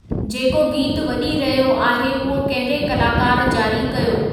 जेको गीतु वॼी रहियो आहे उहो कहिड़े कलाकार जारी कयो